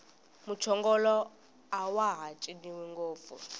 muchongolo awaha ciniwi ngopfu